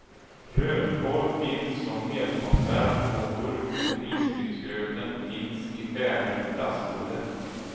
Rödkål finns som helkonserv på burk och risgrynsgröten finns i färdig i plastrulle.